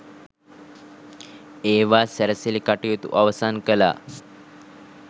ඒවා සැරසිලි කටයුතු අවසන් කළා.